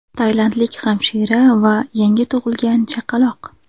Tailandlik hamshira va yangi tug‘ilgan chaqaloq.